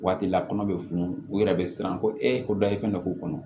Waati la kɔnɔ bɛ funu u yɛrɛ bɛ siran ko e ko dayirimɛ b'u kɔnɔ